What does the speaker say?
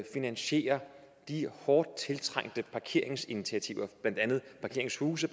finansiere de hårdt tiltrængte parkeringsinitiativer blandt andet parkeringshuse